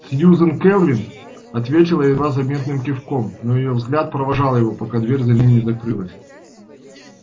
сьюзен кэлвин ответила едва заметным кивком но её взгляд провожал его пока дверь за ним не закрылась